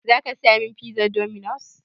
Zaka saya min pizar dominos?